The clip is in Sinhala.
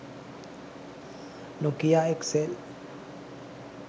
nokia xl